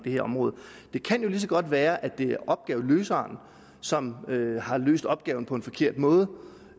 her område det kan jo lige så godt være at det er opgaveløseren som har løst opgaven på en forkert måde